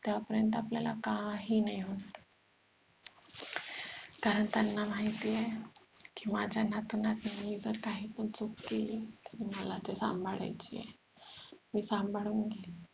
तेव्हा पर्यंत आपल्याला काही नाही होणार कारण त्यांना माहिती आहे कि माझ्या नातूंना काही पण चूक केली मला ती सांभाळायची आहे मी सांभाळून घेईल